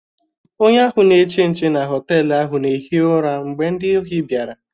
Onye ahụ na-eche nche na họtelu ahụ na-ehi ụra mgbe ndị ohi bịara.